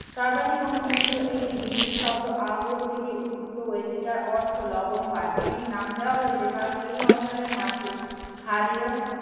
সর্বাধিক অনুমোদিত এটি হিন্দি শব্দ আগর থেকে উদ্ভূত হয়েছে যার অর্থ লবন পান এটির নাম দেওয়া হয়েছে কারন এই অঞ্চলের মাটি ক্ষারীয়